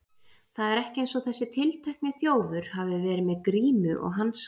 Það er ekki eins og þessi tiltekni þjófur hafi verið með grímu og hanska.